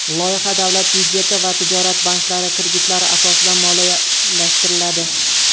Loyiha davlat byudjeti va tijorat banklari kreditlari asosida moliyalashtiriladi.